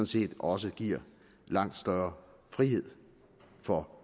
set også giver langt større frihed for